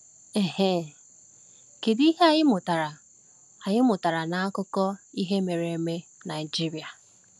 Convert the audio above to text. um Kedu ihe anyị mụtara anyị mụtara n’akụkọ ihe mere eme Nigeria?